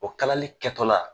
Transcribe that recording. O kalali kɛ tɔ la.